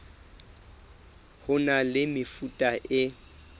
ho na le mefuta e